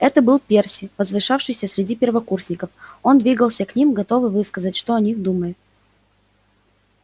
это был перси возвышавшийся среди первокурсников он двигался к ним готовый высказать что о них думает